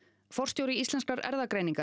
forstjóri Íslenskrar erfðagreiningar